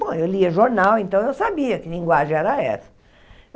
Bom, eu lia jornal, então eu sabia que linguagem era essa.